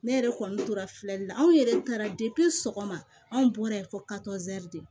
Ne yɛrɛ kɔni tora filɛli la anw yɛrɛ taara sɔgɔma anw bɔra fɔ de